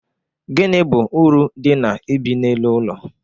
Gini bụ uru dị na ibi n'elu ụlọ?